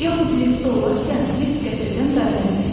Yaxud liftdə olarkən lift qəfildən dayana bilər.